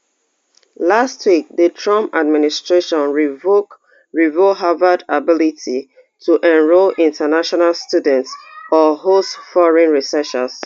last week di trump administration revoke revoke harvard ability to enrol international students or host foreign researchers